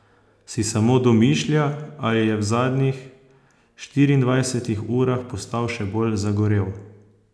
Si samo domišlja ali je v zadnjih štiriindvajsetih urah postal še bolj zagorel?